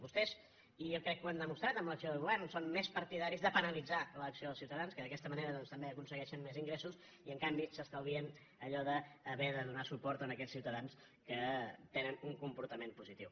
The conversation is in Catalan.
vostès i jo crec que ho han demostrat amb l’acció de govern són més partidaris de penalitzar l’acció dels ciutadans perquè d’aquesta manera també aconseguei·xen més ingressos i en canvi s’estalvien allò d’haver de donar suport a aquells ciutadans que tenen un com·portament positiu